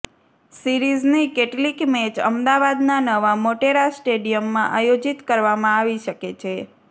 સીરીઝની કેટલીક મેચ અમદાવાદના નવા મોટેરા સ્ટેડીયમમાં આયોજીત કરવામાં આવી શકે છે